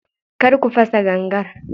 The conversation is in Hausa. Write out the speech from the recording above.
Kar ku fasa gangar.